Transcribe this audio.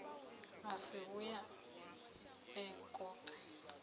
a si vhuye e kope